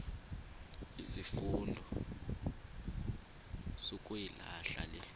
izifundo sukuyilahla le